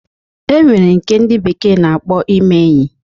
E nwere nke a na-akpọ ime enyi.